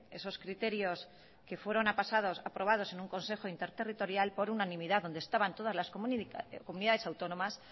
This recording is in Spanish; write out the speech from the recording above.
esos criterios que fueron aprobados en un consejo interterritorial por unanimidad donde estaban todas las comunidades autónomas